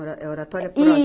É Oratória pró